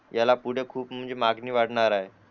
याला पुढे खूप म्हणजे मागणी वाढणार आहे